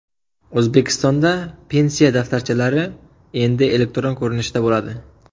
O‘zbekistonda pensiya daftarchalari endi elektron ko‘rinishda bo‘ladi.